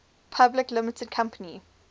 public limited company